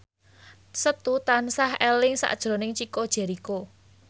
Setu tansah eling sakjroning Chico Jericho